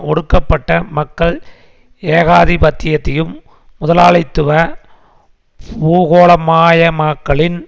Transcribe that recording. ஒடுக்கப்பட்ட மக்கள் ஏகாதிபத்தியத்தையும் முதலாளித்துவ பூகோளமாயமாக்கலின்